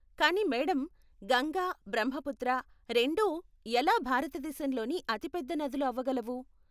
కానీ మేడం, గంగా, బ్రహ్మపుత్ర, రెండూ ఎలా భారతదేశంలోని అతి పెద్ద నదులు అవగలవు?